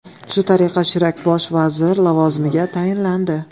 Shu tariqa Shirak bosh vazir lavozimiga tayinlandi.